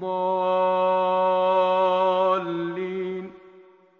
ضَالِّينَ